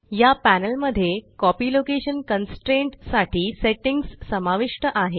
या पॅनल मध्ये copy location constraint साठी सेट्टिंग्स समाविष्ट आहे